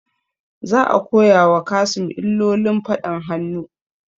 Za a koya wa Kassim illolin faɗan hannu